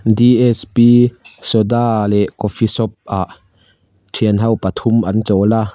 d s p soda leh coffee shop ah thianho pathum an chawl a.